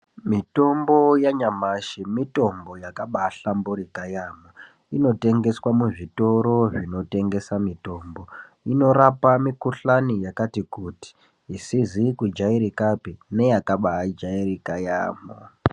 Mitombo yanyamashi mitombo yakabaahlamburika yaamho. Inotengeswa muzvitoro zvinotengesa mitombo. Inorape mikhuhlani yakati kuti isizi kubaajairikapi neyakabaajarika yaamho.